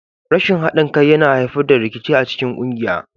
Rashin haɗin kai yana haifar da rikici a cikin ƙungiya.